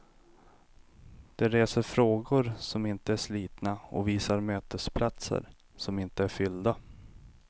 De reser frågor som inte är slitna och visar mötesplatser som inte är fyllda.